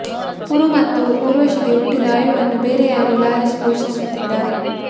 ಪುರು ಮತ್ತು ಊರ್ವಶಿಗೆ ಹುಟ್ಟಿದ ಆಯುವನ್ನು ಬೇರೆ ಯಾರೋ ಲಾಲಿಸಿ ಪೋಷಿಸುತ್ತಾರೆ